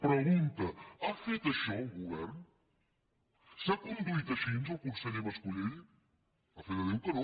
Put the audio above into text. pregunta ha fet això el govern s’ha conduït així el conseller mas colell a fe de déu que no